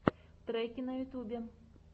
треки на ютьюбе